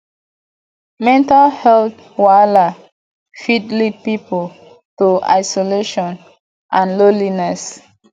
mental health wahala fit lead pipo to isolation and loneliness